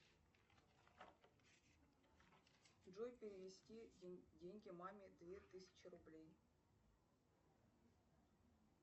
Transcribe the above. джой перевести деньги маме две тысячи рублей